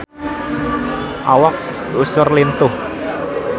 Awak Usher lintuh